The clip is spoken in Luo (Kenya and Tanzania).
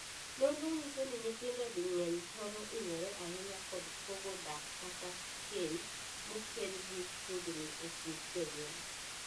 Nonro nyiso ni nyithindo di mang'eny thoro hinyore ahinya kod pogo dak kata keny mokel gi tungni e kind jonyuol.